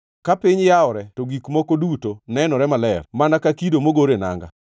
Ka piny yawore to gik moko duto nenore maler; mana ka kido mogor e nanga.